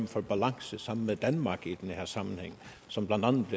for balance sammen med danmark i den her sammenhæng som